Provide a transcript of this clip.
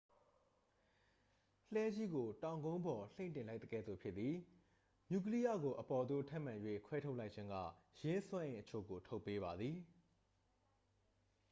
လှည်းကြီးကို တောင်ကုန်းပေါ် လှိမ့်တင်လိုက်သကဲ့သို့ ဖြစ်သည် နျူကလိယကို အပေါ်သို့ ထပ်မံ၍ ခွဲထုတ်လိုက်ခြင်းက ယင်းစွမ်းအင်အချို့ကို ထုတ်ပေးပါသည်